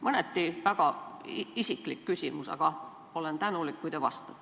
Mõneti väga isiklik küsimus, aga olen tänulik, kui te vastate.